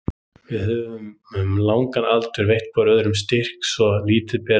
Við höfum um langan aldur veitt hvor öðrum styrk svo lítið ber á.